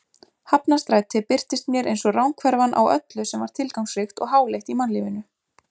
Hafnarstræti birtist mér einsog ranghverfan á öllu sem var tilgangsríkt og háleitt í mannlífinu.